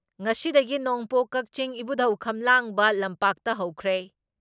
ꯉꯁꯤꯗꯒꯤ ꯅꯣꯡꯄꯣꯛ ꯀꯛꯆꯤꯡ ꯏꯕꯨꯙꯧ ꯈꯝꯂꯥꯡꯕ ꯂꯝꯄꯥꯛꯇ ꯍꯧꯈ꯭ꯔꯦ ꯫